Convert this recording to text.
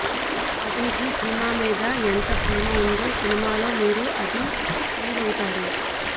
అతనికి సినిమా మీద ఎంతప్రేమ ఉందొ సినిమాలో మీరు అది ఫీల్ అవుతారు